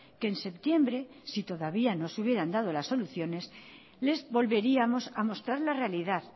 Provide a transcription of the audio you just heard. que en septiembre si todavía no se hubieran dado las soluciones les volveríamos a mostrar la realidad